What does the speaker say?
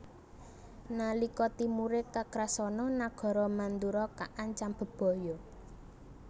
Nalika timure Kakrasana nagara Mandura kaancam bebaya